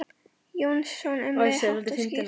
Jónsson um leið, hátt og skýrt.